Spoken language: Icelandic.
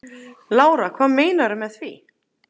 Lára: Hvað meinarðu með því?